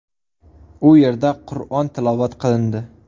U yerda Qur’on tilovat qilindi.